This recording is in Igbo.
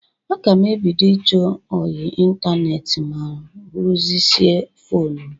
Aga m ebido ịchọ ọyị ịntaneetị ma rụzisie fonu m.